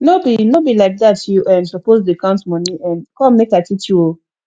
no be no be like dat you um suppose to dey count money um come make i teach you oh